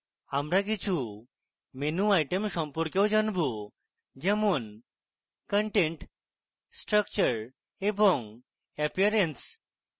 আমরা কিছু menu items সম্পর্কে জানব যেমন content structure এবং appearance